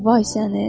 Vay səni.